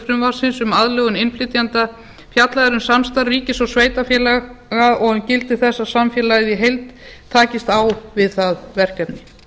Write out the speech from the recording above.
frumvarpsins um aðlögun innflytjenda fjallað er um samstarf ríkis og sveitarfélaga og um gildi þess að samfélagið í heild takist á við það verkefni